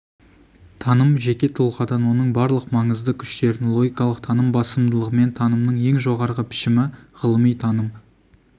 таным жеке тұлғадан оның барлық маңызды күштерін логикалық таным басымдылығымен танымның ең жоғарғы пішімі ғылыми таным